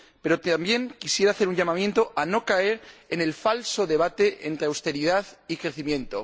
Pero también quisiera hacer un llamamiento para que no caigamos en el falso debate entre austeridad y crecimiento.